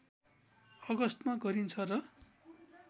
अगस्तमा गरिन्छ र